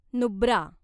Nubra